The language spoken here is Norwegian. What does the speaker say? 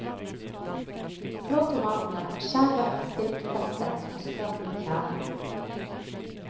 Flå tomatene, skjær vekk stilkfestet og skrap ut kjernen.